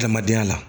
Adamadenya la